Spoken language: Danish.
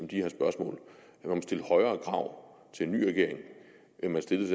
om stille højere krav til en ny regering end man stillede